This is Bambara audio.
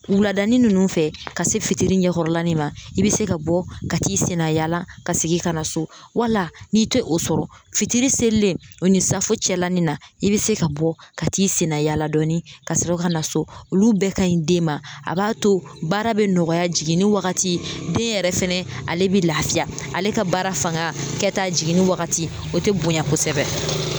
Wuladanin ninnu fɛ ka se fitiri ɲɛkɔrɔlanin ma i bɛ se ka bɔ ka t'i sendayaala ka segin ka na so wala n'i tɛ o sɔrɔ fitiri selilen o ni saafo cɛlanin na i bɛ se ka bɔ ka t'i sendayaala dɔɔnin kasɔrɔ ka na so olu bɛɛ ka ɲi den ma a b'a to baara bɛ nɔgɔya jiginni wagati den yɛrɛ fɛnɛ ale bɛ lafiya ale ka baara fanga kɛta jiginni wagati o tɛ bonya kosɛbɛ